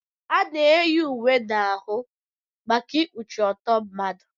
Ana eyi uwe n'ahụ maka ikpuchi ọtọ mmadụ.